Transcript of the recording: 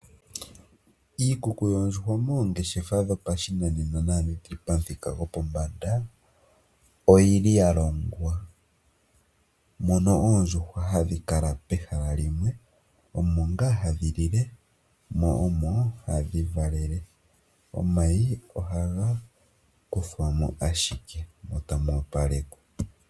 Iikuku yoondjuhwa moongeshefa dhopashinanena naandhi dhi li dhopamuthika gopombanda oya longwa. Mono oondjuhwa hadhi kala pehala limwe, omo ngaa hadhi lile mo omo hadhi valele. Omayi ohaga kuthwa mo ashike, mo tamu opalekwa.